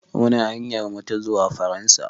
Muna hanyar mu ta zuwa Faransa.